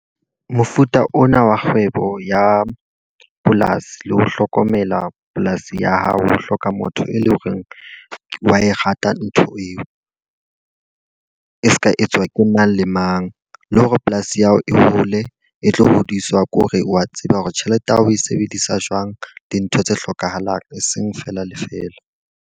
Mofuta ona wa kgwebo ya polasi le ho hlokomela polasi ya hao. Ho hloka motho e leng hore wa e rata ntho eo, e se ka etswa ke mang le mang. Le hore polasi ya hao e hole e tlo hodiswa ke hore wa tseba hore tjhelete ya hao o e sebedisa jwang dintho tse hlokahalang eseng fela le fela.